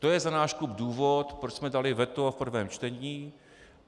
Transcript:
To je za náš klub důvod, proč jsme dali veto v prvním čtení.